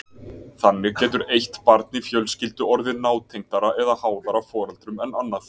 Þannig getur eitt barn í fjölskyldu orðið nátengdara eða háðara foreldrum en annað.